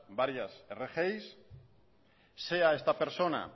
varias rgi sea esta persona